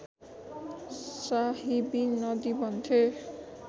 साहिबी नदी भन्थे